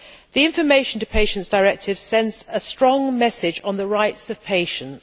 The Information to Patients Directive sends a strong message on the rights of patients.